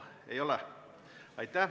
Ei ole.